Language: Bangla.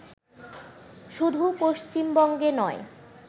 শুধু পশ্চিমবঙ্গে নয়